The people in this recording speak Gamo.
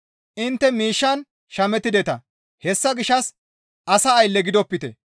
Intte miishshan shamettideta; hessa gishshas asa aylle gidopite.